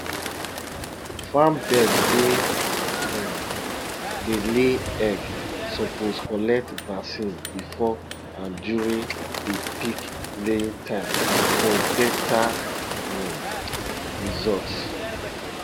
farm bird wey um dey lay egg suppose collect vaccine before and during di peak laying time for beta [um]results